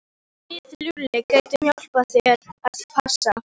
Við Lúlli getum hjálpað þér að passa.